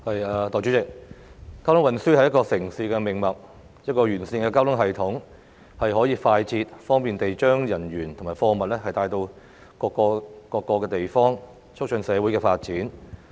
代理主席，交通運輸是一個城市的命脈，一個完善的交通系統，可以快捷、方便地將人員及貨物帶到各個地方，促進社會的發展。